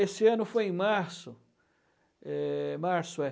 Esse ano foi em março. Eh... março